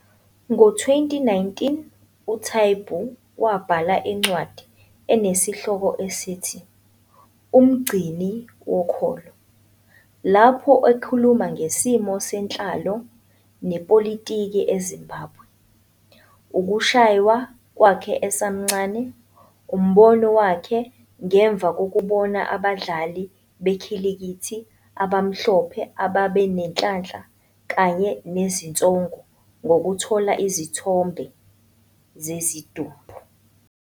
Ngo-2019, uTaibu wabhala incwadi enesihloko esithi 'Umgcini Wokholo', lapho ekhuluma ngesimo senhlalo nepolitiki eZimbabwe, ukushaywa kwakhe esemncane, umbono wakhe ngemva kokubona abadlali bekhilikithi abamhlophe ababenenhlanhla kanye nezinsongo ngokuthola izithombe zezidumbu.